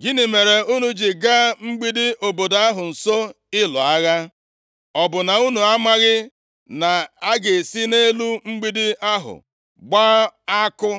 ‘Gịnị mere unu ji gaa mgbidi obodo ahụ nso ịlụ agha? Ọ bụ na unu amaghị na a ga-esi nʼelu mgbidi ahụ gbaa àkụ?